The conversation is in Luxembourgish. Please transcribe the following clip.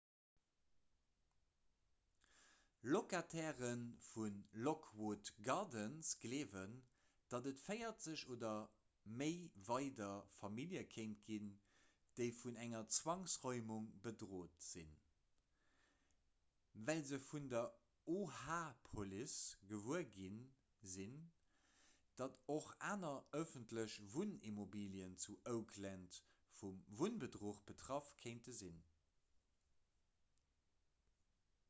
locataire vu lockwood gardens gleewen datt et 40 oder méi weider famillje kéint ginn déi vun enger zwangsräumung bedréit sinn well se vun der oha-police gewuer gi sinn datt och aner ëffentlech wunnimmobilien zu oakland vum wunnbedruch betraff kéinte sinn